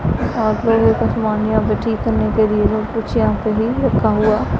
आप लोगों का समान यहां पे ठीक करने के लिए और कुछ यहां पे भी रखा हुआ--